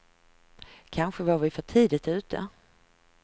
Kanske var vi för tidigt ute.